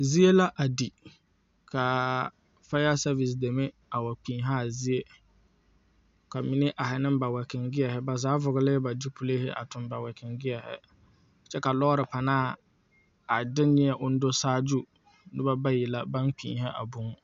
Zie la a di ka faya sɛvese deme a wa kpiihi a zie ka mine ahi ne ba wɛkoŋ gyeehayi ba zaa vɔglee ba zupili a tuŋ ba wɛgoŋ gyeehayi kyɛ ka loori panaa a de neɛ ko o do saagyu noba bayi baŋ kpiihi a buu.